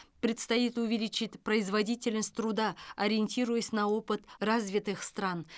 предстоит увеличить производительность труда ориентируясь на опыт развитых стран